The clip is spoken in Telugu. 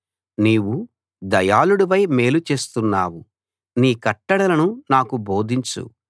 నీవు దయాళుడివై మేలు చేస్తున్నావు నీ కట్టడలను నాకు బోధించు